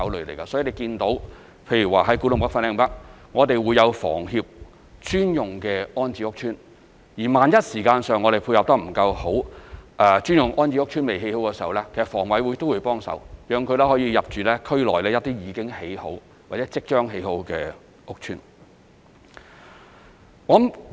例如在古洞北/粉嶺北，我們會有香港房屋協會專用的安置屋邨；萬一時間配合得不夠好，專用安置屋邨尚未建成，香港房屋委員會亦會幫忙，讓市民可以入住區內一些已經建成或即將建成的屋邨。